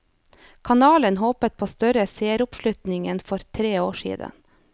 Kanalen håper på større seeroppslutning enn for tre år siden.